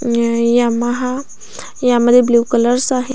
Yamaha यामध्ये blue colours आहे.